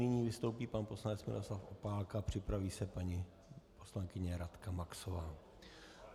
Nyní vystoupí pan poslanec Miroslav Opálka, připraví se paní poslankyně Radka Maxová.